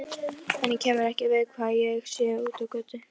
Henni kemur ekki við hvað ég sé úti á götu.